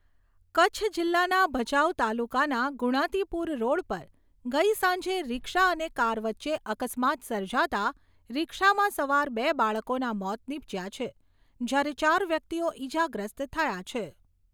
કચ્છ જિલ્લાના ભચાઉ તાલુકાના ગુણાતીપુર રોડ પર ગઈ સાંજે રીક્ષા અને કાર વચ્ચે અકસ્માત સર્જાતા રીક્ષામાં સવાર બે બાળકોના મોત નિપજ્યા છે જ્યારે ચાર વ્યક્તિઓ ઈજાગ્રસ્ત થયા છે.